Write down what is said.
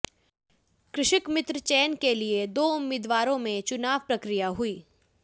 कृषक मित्र चयन के लिए दो उम्मीदवारों में चुनाव प्रक्रिया हुई